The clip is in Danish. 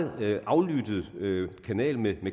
meget aflyttet kanal med